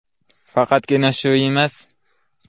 Faqatgina shu emas.